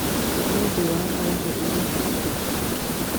Nĩ ũndũ wa honge iria ciakũragio